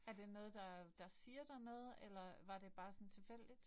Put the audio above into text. Er det noget der siger dig noget eller var det bare sådan tilfældigt?